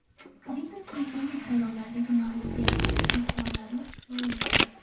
Klinton prezidentlik saylovlaridagi mag‘lubiyati aybdorlarini ma’lum qildi.